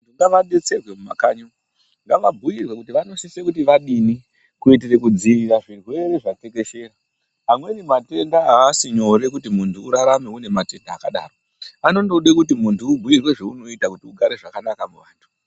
Ngavadetserwe mumakanyi umungavabhuirwe kuti vanosisa kuti vadini kuitire kudzivirira zvirwere zvatekeshera amweni matenda asi nyore kuti urarame akadaro anondode kuti muntu ubhuirwe zvaunoita kuti ugare zvakanaka muvantu.